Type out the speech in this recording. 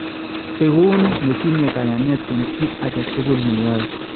Ikun netinye kayaneet en kit ake tukul ne yae